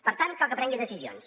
per tant cal que prengui decisions